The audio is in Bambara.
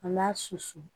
An b'a susu